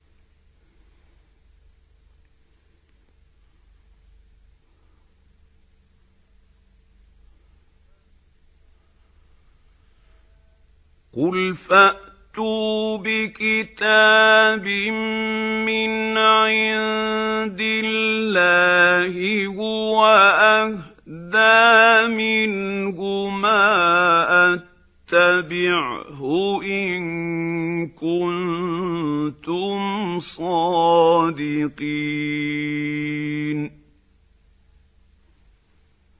قُلْ فَأْتُوا بِكِتَابٍ مِّنْ عِندِ اللَّهِ هُوَ أَهْدَىٰ مِنْهُمَا أَتَّبِعْهُ إِن كُنتُمْ صَادِقِينَ